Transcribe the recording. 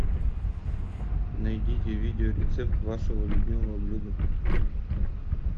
найдите видеорецепт вашего любимого блюда